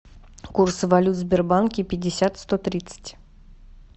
курсы валют в сбербанке пятьдесят сто тридцать